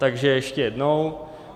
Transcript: Takže ještě jednou.